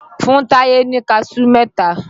Fún Táyé ni Kaṣú mẹ́ta!